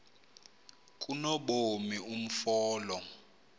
kanobomi umfo lo